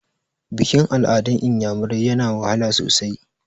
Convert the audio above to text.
Bikin-al'adun iyamirai yana wahala sosai.